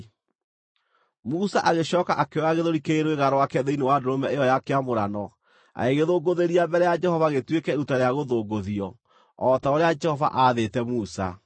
Musa agĩcooka akĩoya gĩthũri kĩrĩ rwĩga rwake thĩinĩ wa ndũrũme ĩyo ya kĩamũrano, agĩgĩthũngũthĩria mbere ya Jehova gĩtuĩke iruta rĩa gũthũngũthio, o ta ũrĩa Jehova aathĩte Musa.